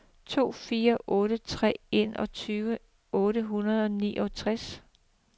to fire otte tre enogtyve otte hundrede og enogtredive